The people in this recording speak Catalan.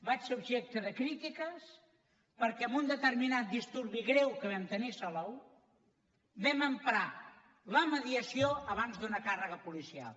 vaig ser objecte de crítiques perquè en un determinat disturbi greu que vam tenir a salou vam emprar la mediació abans d’una càrrega policial